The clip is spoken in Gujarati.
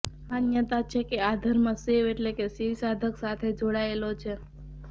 માન્યતા છે કે આ ધર્મ શૈવ એટલે કે શિવ સાધક સાથે જોડાયેલો છે